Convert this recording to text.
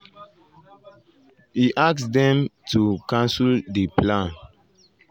e ask um dem to cancel di plan. plan.